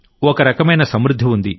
ఒక రకమైన సమృద్ధి ఉంది